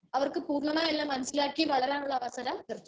Speaker 1 അവർക്ക് പൂർണ്ണമായി എല്ലാം മനസ്സിലാക്കി വളരാനുള്ള അവസരം ലഭിക്കുന്നു.